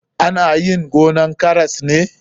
Ana yin gonan karas ne.